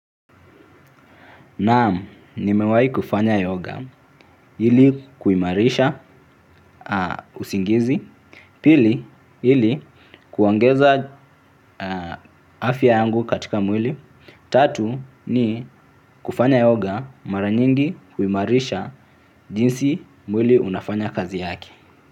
Naam nimewahi kufanya yoga ili kuimarisha usingizi. Pili ili kuongeza afya yangu katika mwili. Tatu ni kufanya yoga mara nyingi huimarisha jinsi mwili unafanya kazi yake.